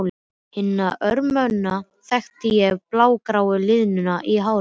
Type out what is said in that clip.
Hina ömmuna þekkti ég á blágráu liðunum í hárinu.